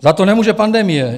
Za to nemůže pandemie.